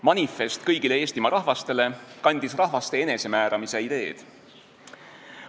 "Manifest kõigile Eestimaa rahvastele" kandis rahvaste enesemääramise ideed.